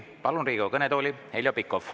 Palun Riigikogu kõnetooli Heljo Pikhofi.